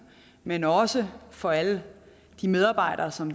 men også for alle de medarbejdere som